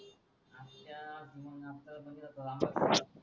च्यात मंग आपल्या म्हणजे ग्रामपोस